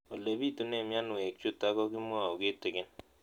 Ole pitune mionwek chutok ko kimwau kitig'�n